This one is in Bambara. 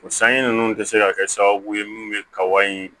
O sanji ninnu tɛ se ka kɛ sababu ye minnu bɛ kaba in